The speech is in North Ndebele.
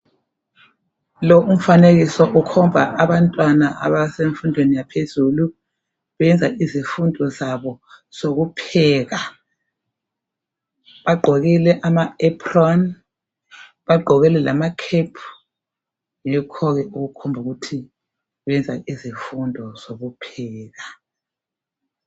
Lo umfanekiso ukomba abantwana asebefundo yaphezulu beyenza izifundo zabo zokupheka. Bagqokile ama apron, bagqokile lama kepu, yikho okukhomba ukuthi bayenza izifundo zokupheka.